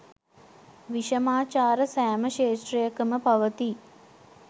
විෂමාචාර සෑම ක්ෂේත්‍රයකම පවතී.